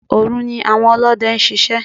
Òru ni àwọn Olóde ń ṣiṣẹ́.